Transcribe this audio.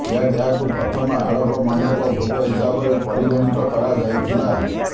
ଏହାକୁ ପ୍ରଥମ ଆଡପ ମଣ୍ଡପ ଭୋଗ ହିସାବରେ ପରିଗଣିତ କରାଯାଇଥିଲା